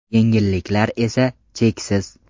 Yengilliklar esa, cheksiz.